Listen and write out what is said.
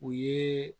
U ye